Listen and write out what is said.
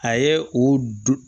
A ye o